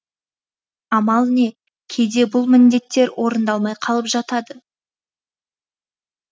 амал не кейде бұл міндеттер орындалмай қалып жатады